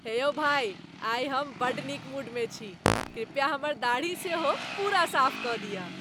हे यौ भाइ। आइ हम बड्ड नीक मूडमे छी। कृपया हमर दाढ़ी सेहो पूरा साफ कऽ दिअ।